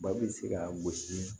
Ba bɛ se ka gosi